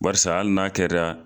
Barisa hali n'a kɛra